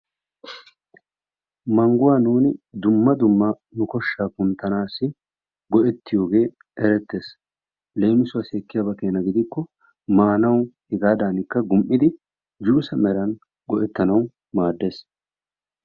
Mangguwaa nuuni dumma dumma nu koshshaa kunttanassi go"ettiyoogee erettees. Leemisuwaasi ekiyaaba keena gidikko maanwu hegaadanikka gum"idi juuse meran go"ettanawu maaddees.